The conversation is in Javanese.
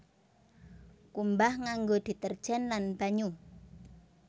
Kumbah nganggo deterjen lan banyu